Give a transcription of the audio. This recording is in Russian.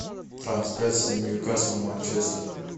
трансляция ньюкасл манчестер